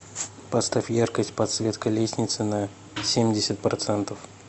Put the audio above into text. поставь яркость подсветка лестницы на семьдесят процентов